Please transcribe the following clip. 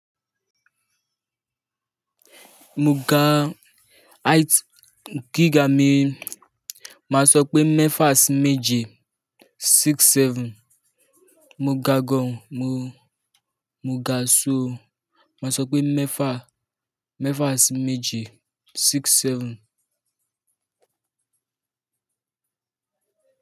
Mo ga height gíga mi, màá sọ pé mẹ́fà sí méje, six seven. Mo ga gan, mo, mo ga ṣóò, màá sọ pé mẹ́fà, mẹ́fà sí méje, six seven.